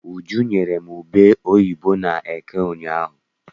Uju nyere m ube oyibo n'eke ụnyaahụ.